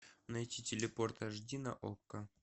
найти телепорт аш ди на окко